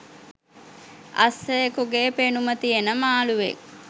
අස්සයෙකුගෙ පෙනුම තියෙන මාළුවෙක්